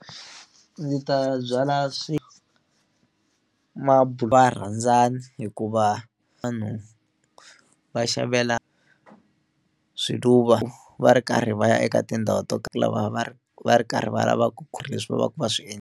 Ndzi ta byala swi varhandzani hikuva vanhu va xavela swiluva va ri karhi va ya eka tindhawu to ka lava va ri va ri karhi va lavaka ku ri leswi vanhu va swi .